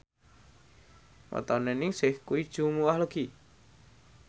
wetone Ningsih kuwi Jumuwah Legi